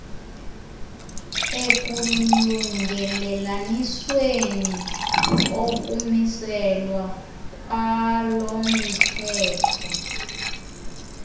ekulungelelanisweni kokumiselwa kwalomthetho